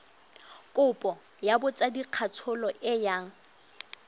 kopo ya botsadikatsholo e yang